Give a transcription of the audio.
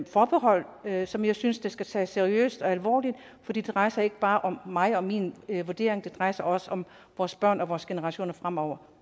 forbehold som jeg synes skal tages seriøst og alvorligt for det drejer sig ikke bare om mig og min vurdering det drejer sig også om vores børn og vores generationer fremover